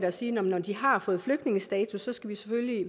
at sige at når de har fået flygtningestatus så skal vi selvfølgelig